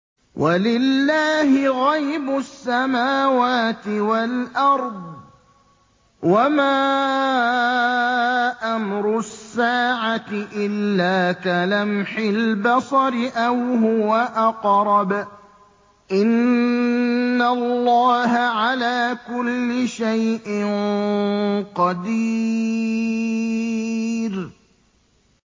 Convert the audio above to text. وَلِلَّهِ غَيْبُ السَّمَاوَاتِ وَالْأَرْضِ ۚ وَمَا أَمْرُ السَّاعَةِ إِلَّا كَلَمْحِ الْبَصَرِ أَوْ هُوَ أَقْرَبُ ۚ إِنَّ اللَّهَ عَلَىٰ كُلِّ شَيْءٍ قَدِيرٌ